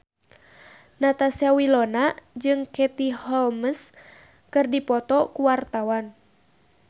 Natasha Wilona jeung Katie Holmes keur dipoto ku wartawan